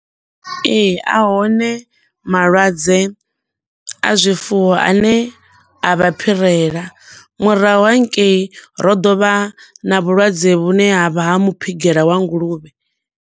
Ee, ahone malwadze a zwifuwo ane avha phirela, murahu hangei ro ḓovha na vhulwadze vhune ha vha ha muphigela wa nguluvhe.